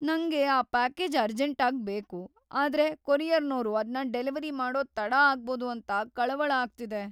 ನಂಗೆ ಆ ಪ್ಯಾಕೇಜ್‌ ಅರ್ಜೆಂಟಾಗ್‌ ಬೇಕು, ಆದ್ರೆ ಕೊರಿಯರ್ನೋರು ಅದ್ನ ಡೆಲಿವರಿ ಮಾಡೋದ್ ತಡ ಆಗ್ಬೋದು ಅಂತ ಕಳವಳ ಆಗ್ತಿದೆ.